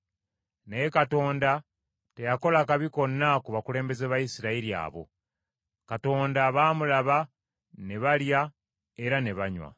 Naye Katonda teyakola kabi konna ku bakulembeze ba Isirayiri abo; Katonda baamulaba, ne balya era ne banywa.